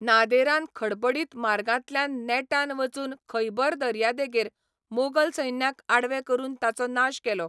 नादेरान खडबडीत मार्गांतल्यान नेटान वचून खैबर दर्यादेगाचेर मोगल सैन्याक आडवें करून ताचो नाश केलो.